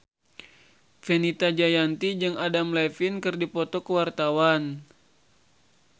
Fenita Jayanti jeung Adam Levine keur dipoto ku wartawan